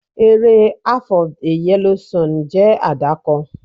Eré "Half of a Yellow Sun" jẹ́ àdàkọ.